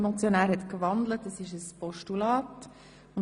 Der Motionär hat den Vorstoss in ein Postulat gewandelt.